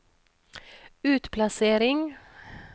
utplassering